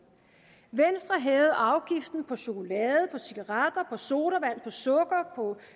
venstre hævede afgiften på chokolade på cigaretter på sodavand på sukker på